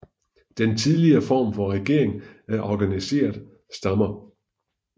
Den tidligere form for regering er organiserede stammer